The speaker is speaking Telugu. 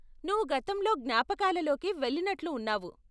నువ్వు గతంలో జ్ఞాపకాలలోకి వెళ్ళినట్లు ఉన్నావు.